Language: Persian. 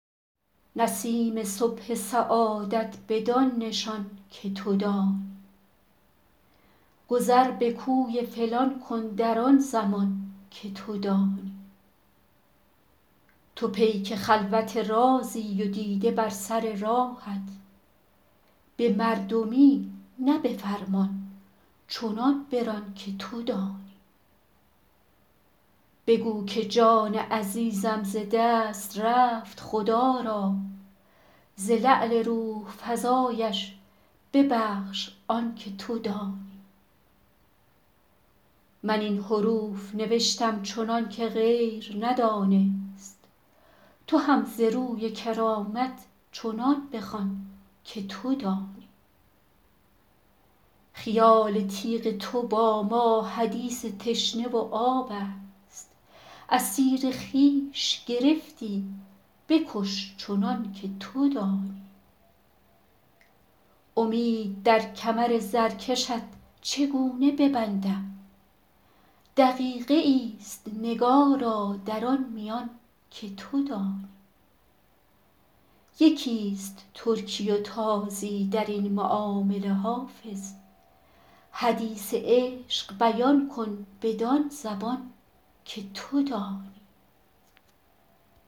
نسیم صبح سعادت بدان نشان که تو دانی گذر به کوی فلان کن در آن زمان که تو دانی تو پیک خلوت رازی و دیده بر سر راهت به مردمی نه به فرمان چنان بران که تو دانی بگو که جان عزیزم ز دست رفت خدا را ز لعل روح فزایش ببخش آن که تو دانی من این حروف نوشتم چنان که غیر ندانست تو هم ز روی کرامت چنان بخوان که تو دانی خیال تیغ تو با ما حدیث تشنه و آب است اسیر خویش گرفتی بکش چنان که تو دانی امید در کمر زرکشت چگونه ببندم دقیقه ای است نگارا در آن میان که تو دانی یکی است ترکی و تازی در این معامله حافظ حدیث عشق بیان کن بدان زبان که تو دانی